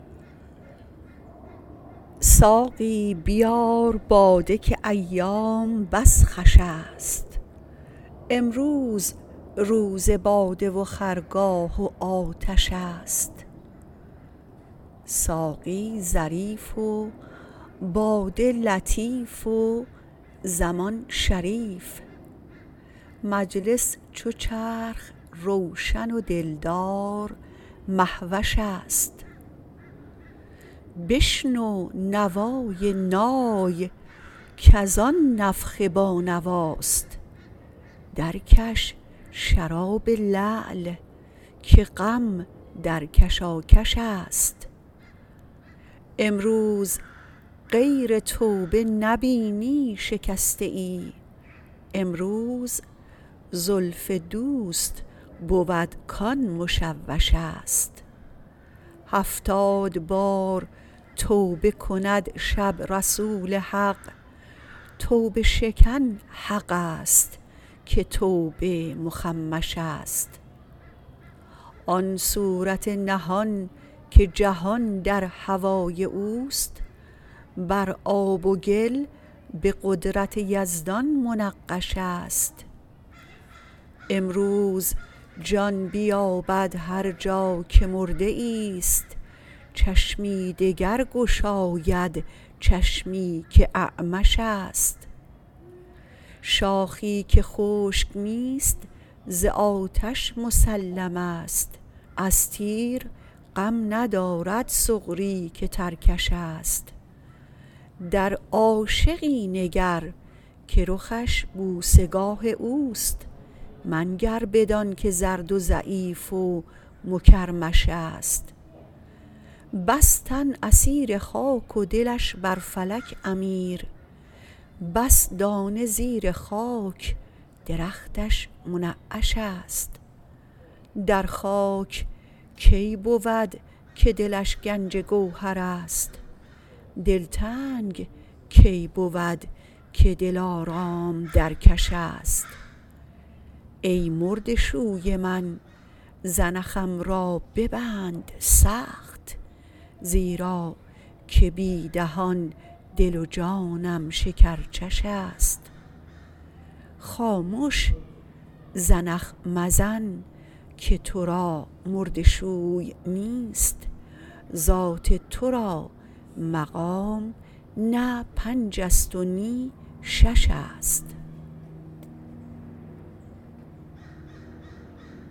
ساقی بیار باده که ایام بس خوشست امروز روز باده و خرگاه و آتش است ساقی ظریف و باده لطیف و زمان شریف مجلس چو چرخ روشن و دلدار مهوش است بشنو نوای نای کز آن نفخه بانواست درکش شراب لعل که غم در کشاکش است امروز غیر توبه نبینی شکسته ای امروز زلف دوست بود کان مشوش است هفتاد بار توبه کند شب رسول حق توبه شکن حق است که توبه مخمش است آن صورت نهان که جهان در هوای او است بر آب و گل به قدرت یزدان منقش است امروز جان بیابد هر جا که مرده ای است چشمی دگر گشاید چشمی که اعمش است شاخی که خشک نیست ز آتش مسلم است از تیر غم ندارد سغری که ترکش است در عاشقی نگر که رخش بوسه گاه او است منگر بدانک زرد و ضعیف و مکرمش است بس تن اسیر خاک و دلش بر فلک امیر بس دانه زیر خاک درختش منعش است در خاک کی بود که دلش گنج گوهر است دلتنگ کی بود که دلارام در کش است ای مرده شوی من زنخم را ببند سخت زیرا که بی دهان دل و جانم شکرچش است خامش زنخ مزن که تو را مرده شوی نیست ذات تو را مقام نه پنج است و نی شش است